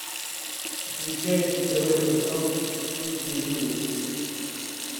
включай на тв канал ювелирочка